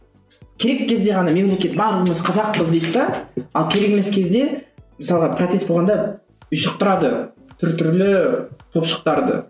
керек кезде ғана мемлекет барлығымыз қазақпыз дейді де ал керек емес кезде мысалға протест болғанда ұшықтырады түр түрлі топшықтарды